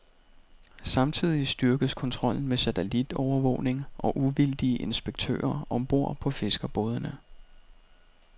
Samtidig styrkes kontrollen med satellitovervågning og uvildige inspektører om bord på fiskerbådene.